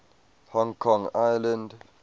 hong kong island